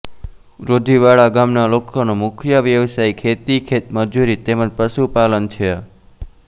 રોજીવાડા ગામના લોકોનો મુખ્ય વ્યવસાય ખેતી ખેતમજૂરી તેમ જ પશુપાલન છે